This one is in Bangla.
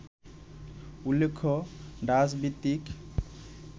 উল্লেখ্য, ডাচভিত্তিক